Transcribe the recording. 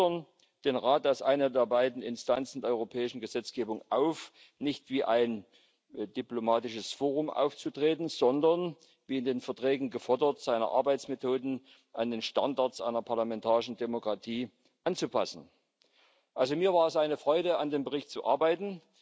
Wir fordern den Rat als eine der beiden Instanzen der europäischen Gesetzgebung auf, nicht wie ein diplomatisches Forum aufzutreten, sondern wie in den Verträgen gefordert seine Arbeitsmethoden an die Standards einer parlamentarischen Demokratie anzupassen. Mir war es eine Freude, an dem Bericht zu arbeiten.